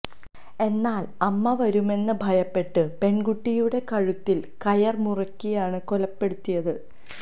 എന്നാൽ അമ്മ വരുമെന്ന് ഭയപ്പെട്ട് പെൺകുട്ടിയുടെ കഴുത്തിൽ കയർ മുറുക്കിയാണ് കൊലപ്പെടുത്തിയത്